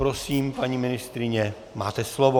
Prosím, paní ministryně, máte slovo.